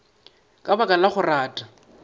ka baka la go rata